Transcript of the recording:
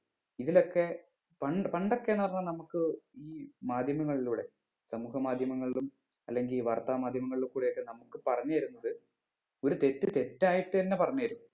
ഇതിലൊക്കെ പണ്ട് പണ്ടൊക്കെ പറഞ്ഞ നമ്മുക്ക് ഈ മാധ്യമങ്ങളിലൂടെ സമൂഹ മാധ്യമങ്ങളിലും അല്ലെങ്കിൽ വാർത്താ മാധ്യമങ്ങളില്ക്കൂടെ ഒക്കെ നമുക്ക് പറഞ്ഞ് തരുന്നത് ഒര് തെറ്റ് തെറ്റായിട്ട് തന്നെ പറഞ്ഞ് തരും